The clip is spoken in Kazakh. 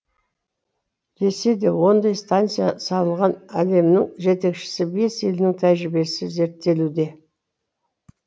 десе де ондай станция салған әлемнің жетекші бес елінің тәжірибесі зерттелуде